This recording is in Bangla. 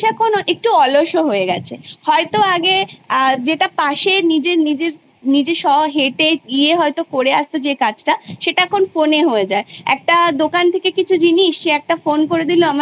তারপর তিন বছর আমরা Graduation Course করি সেই সম্পূর্ণ জিনিসটা ভেঙে একটা অন্য পরিকাঠামো তৈরী হতে চলেছে যেটা হচ্ছে প্রথমে একটা Pre-School হবে যেটা Two অবধি সেখানে Totally